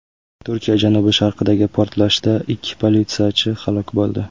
Turkiya janubi-sharqidagi portlashda ikki politsiyachi halok bo‘ldi.